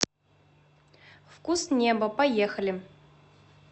вкус неба поехали